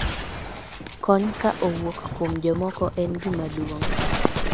kony ka owuok kuom jomoko en gima duong'